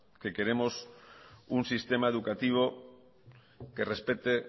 que queremos un sistema educativo que respete